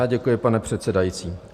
Já děkuji, pane předsedající.